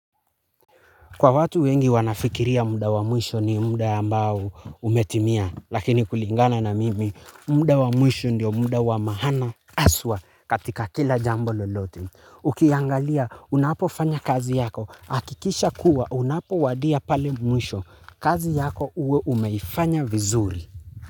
Kwa watu wengi wanafikiria muda wa mwisho ni muda ambao umetimia, lakini kulingana na mimi, muda wa mwisho ndio muda wa maana aswa katika kila jambo lolote. Ukiangalia, unapofanya kazi yako, hakikisha kuwa, unapowadia pale mwisho, kazi yako uwe uimefanya vizuri.